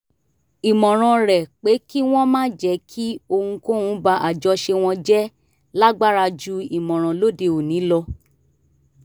ìmọ̀ràn rẹ̀ pé kí wọ́n má jẹ́ kí ohunkóhun ba àjọṣe wọn jẹ́ lágbára ju ìmọ̀ràn lóde òní lọ